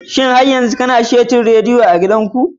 Shin har yanzu kana da saitin rediyo a gidanku?